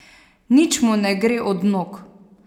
Nič mu ne gre od nog.